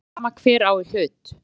Alveg sama hver á í hlut.